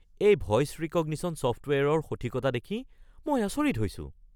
এই voice recognition ছফ্টৱেৰৰ সঠিকতা দেখি মই আচৰিত হৈছোঁ।